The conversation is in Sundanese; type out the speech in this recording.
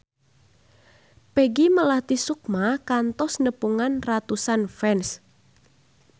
Peggy Melati Sukma kantos nepungan ratusan fans